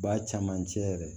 Ba camancɛ yɛrɛ